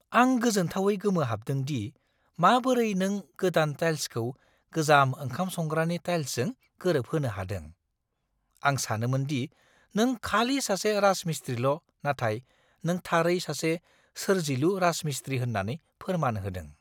आं गोजोनथावै गोमोहाबदों दि माबोरै नों गोदान टाइल्सखौ गोजाम ओंखाम संग्रानि टाइल्सजों गोरोबहोनो हादों। आं सानोमोन दि नों खालि सासे राजमिस्त्रील' नाथाय नों थारै सासे सोरजिलु राजमिस्त्री होन्नानै फोरमान होदों।